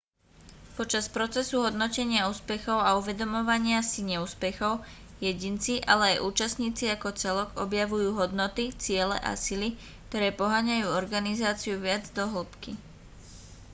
počas procesu hodnotenia úspechov a uvedomovania si neúspechov jedinci ale aj účastníci ako celok objavujú hodnoty ciele a sily ktoré poháňajú organizáciu viac do hĺbky